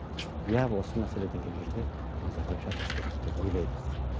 иә осы мәселеден келгенде назарбаев шатасқан жоқ деп ойлаймыз